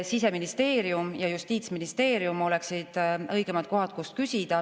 Siseministeerium ja Justiitsministeerium oleksid õigemad kohad, kust küsida.